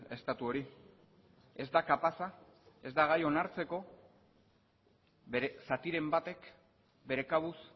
estatu hori ez da kapaza ez da gai onartzeko bere zatiren batek bere kabuz